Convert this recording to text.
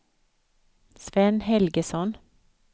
Sven Helgesson